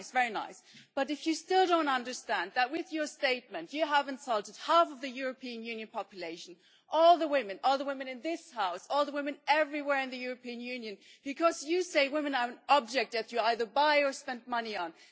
Very nice, but you still don't understand that with your statement you have insulted half of the European Union population all the women in this House, all the women everywhere in the European Union because you say that women are an object that you either buy or spend money on.